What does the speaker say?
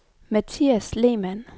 Mathias Lehmann